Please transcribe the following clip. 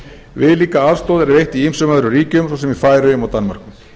viðlíka aðstoð er veitt í ýmsum öðrum ríkjum svo sem í færeyjum og danmörku